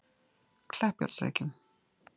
Kleppjárnsreykjum